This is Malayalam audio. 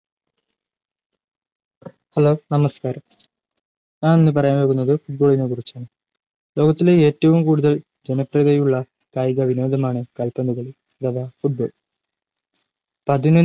hello നമസ്‌കാരം ഞാൻ ഇന്ന്‌ പറയാൻ പോകുന്നത് ഫുട്ബോളിനെ കുറിച്ചാണ് ലോകത്തിൽ ഏറ്റവും കൂടുതൽ ജനപ്രിയതയുള്ള കായിക വിനോദമാണ്‌ കാൽപന്തുകളി അഥവാ football പതിനൊന്നു